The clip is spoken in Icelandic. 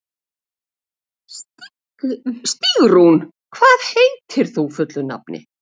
Stígrún, hvað heitir þú fullu nafni?